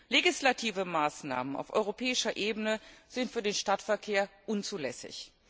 Legislative Maßnahmen auf europäischer Ebene sind für den Stadtverkehr unzulässig.